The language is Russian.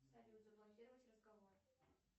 салют заблокировать разговор